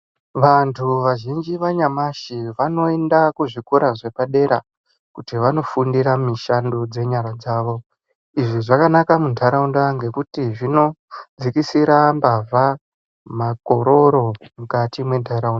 Vantu vazhinji vanyamashi vanoenda kuzvikora zvepadera kuti vanofundira mishando dzenyara dzavo. Izvi zvakanaka muntaraunda ngekuti zvinodzikisira mbavha, makororo mukati mwentarau...